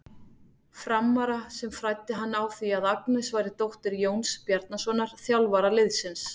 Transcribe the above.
Frammara sem fræddi hann á því að Agnes væri dóttir Jóns Bjarnasonar, þjálfara liðsins.